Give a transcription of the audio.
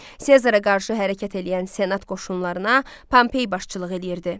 Sezara qarşı hərəkət eləyən senat qoşunlarına Pompey başçılıq eləyirdi.